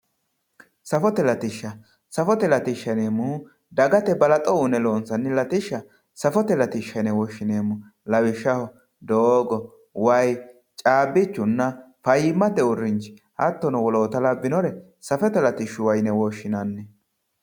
safote latishsha ,safote latishsha yineemmohu dagate balaxo uyiine loonsanni latishsha safote latishsha yine woshshineemmo lawishshsaho doogo, waayi caabbichunna fayyimmate uurrinsha hattono woloota labbinore safote latishshuwa yine woshshinanni.